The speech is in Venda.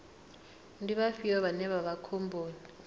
ndi vhafhio vhane vha vha khomboni